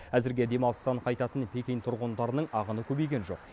әзірге демалыстан қайтатын пекин тұрғындарының ағыны көбейген жоқ